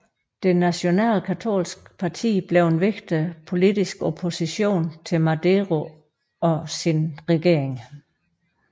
Det Nationale Katolske Parti blev en vigtig politisk opposition til Madero og hans regering